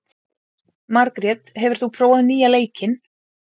Margret, hefur þú prófað nýja leikinn?